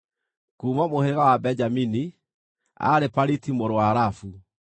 kuuma mũhĩrĩga wa Benjamini, aarĩ Paliti mũrũ wa Rafu;